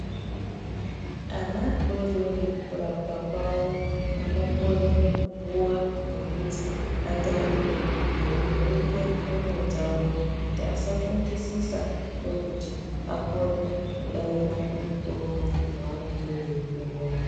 Ana adoodori kurapwa kwawo anokone kupuwa mwekuti atambire eyivhurike dondo dzawo kuti asafungisisa ndokuti akone kudavira kumitombo yeavanenge veyipuwa.